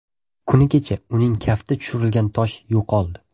Kuni kecha uning kafti tushirilgan tosh yo‘qoldi.